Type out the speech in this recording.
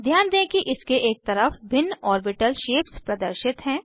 ध्यान दें कि इसके एक तरफ भिन्न ऑर्बिटल शेप्स प्रदर्शित हैं